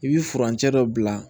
I bi furancɛ dɔ bila